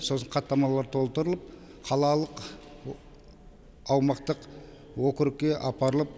сосын хаттамалар толтырылып қалалық аумақтық округке апарылып